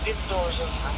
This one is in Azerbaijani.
Hərəkət etmiş?